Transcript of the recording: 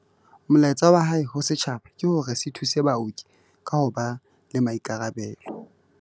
Molaetsa wa hae ho setjhaba ke hore se thuse baoki ka ho ba le maikarabelo.